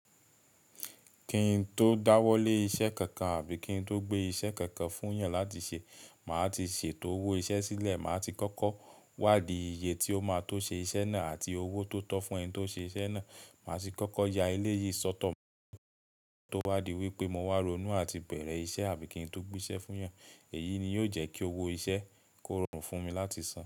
Kí n tó dáwọ́lé iṣẹ́ kankan àbí kí n tó gbé iṣẹ́ kankan fún èèyàn láti ṣe, màá ti ṣètò owó iṣẹ́ sílẹ̀. Màá ti kọ́kọ́ wádì iye tí ó máa tó ṣe iṣẹ́ náà àti owó tó tọ́ fún ẹni tí ó ṣe iṣẹ́ náà. Màá ti kọ́kọ́ ya ilé yìí sọ́tọ̀ tó wádì wípé mo wá ronú àti bẹ̀rẹ̀ iṣẹ́ àbí kí n tó gbé iṣẹ́ fún èèyàn. Èyí ni yóò jẹ́ kí owó iṣẹ́ kó rọrùn fún mi láti san.